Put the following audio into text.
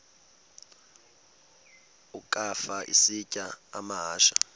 ukafa isitya amahashe